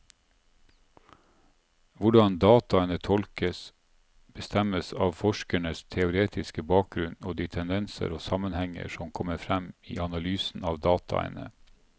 Hvordan dataene tolkes, bestemmes av forskerens teoretiske bakgrunnen og de tendenser og sammenhenger som kommer frem i analysen av dataene.